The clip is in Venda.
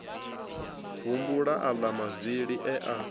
humbula aḽa mavili e a